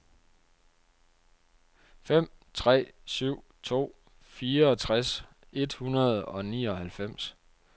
fem tre syv to fireogtres et hundrede og nioghalvfems